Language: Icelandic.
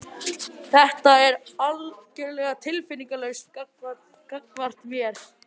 Þú ert algjörlega tilfinningalaus gagnvart mér.